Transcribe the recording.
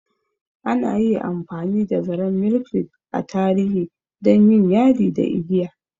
Ana yi amfani da zaren Milkweed a tarihi don yin yadi da igiya.